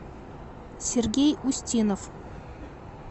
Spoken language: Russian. сергей устинов